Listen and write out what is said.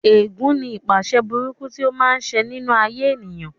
Ẹ̀gún ní ipaṣẹ̀ burúkú tí ó máa ń ṣe nínú ayé ènìyàn